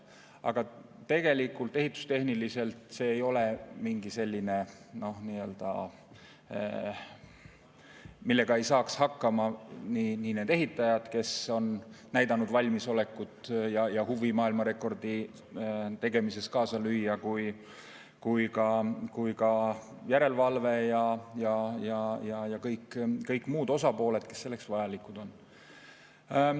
Aga tegelikult ehitustehniliselt see ei ole midagi sellist, millega ei saaks hakkama nii need ehitajad, kes on näidanud valmisolekut ja huvi maailmarekordi tegemises kaasa lüüa, kui ka järelevalve ja kõik muud osapooled, kes selleks vajalikud on.